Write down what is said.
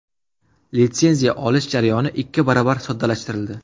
Litsenziya olish jarayoni ikki barobar soddalashtirildi.